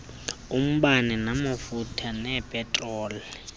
umbane amafutha nepetroli